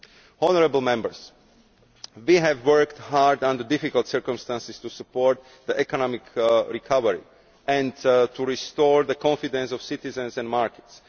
Honourable Members, we have worked hard under difficult circumstances to support the economic recovery and to restore the confidence of citizens and markets.